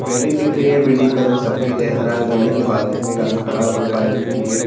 building दिख रही है बिल्डिंग का रंग सफ़ेद है हरा है बिल्डिंग के बालकनी में एक आदमी खड़ा हुआ है बालकनी नीले रंग --